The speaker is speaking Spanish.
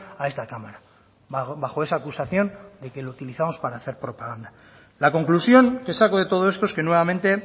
a esta cámara bajo esa acusación de que lo utilizamos para hacer propaganda la conclusión que saco de todo esto es que nuevamente